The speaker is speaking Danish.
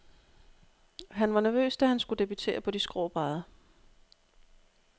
Han var nervøs, da han skulle debutere på de skrå brædder.